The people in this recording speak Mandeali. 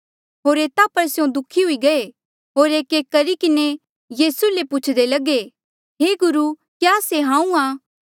होर एता पर स्यों दुःखी हुई गये होर एकएक करी किन्हें यीसू ले पूछदे लगे हे गुरु क्या से हांऊँ आं